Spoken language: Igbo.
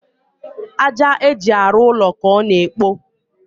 àjà eji arụ ụlọ ka ọ na ekpo